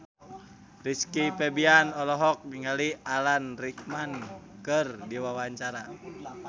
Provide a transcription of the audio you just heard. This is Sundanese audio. Rizky Febian olohok ningali Alan Rickman keur diwawancara